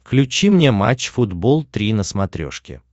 включи мне матч футбол три на смотрешке